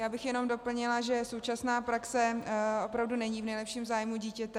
Já bych jenom doplnila, že současné praxe opravdu není v nejlepším zájmu dítěte.